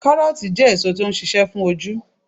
Karooti jẹ́ èso tó ń ṣíṣe fún ojú.